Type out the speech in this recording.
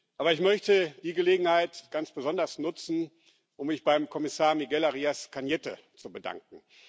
Aber ich möchte die Gelegenheit ganz besonders nutzen, um mich beim Kommissar Miguel Arias Cañete zu bedanken.